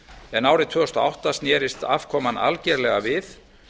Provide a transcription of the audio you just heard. en árið tvö þúsund og átta snerist afkoman algjörlega við